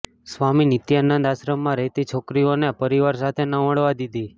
સ્વામી નિત્યાનંદના આશ્રમમાં રહેતી છોકરીઓને પરિવાર સાથે ન મળવા દીધી